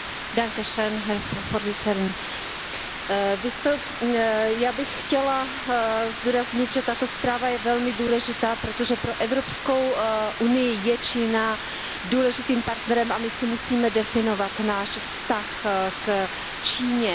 Paní předsedající, já bych chtěla zdůraznit, že tato zpráva je velmi důležitá, protože pro Evropskou unii je Čína důležitým partnerem a my si musíme definovat náš vztah k Číně.